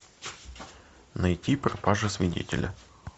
найти пропажа свидетеля